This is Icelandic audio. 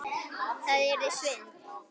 Það yrði svindl.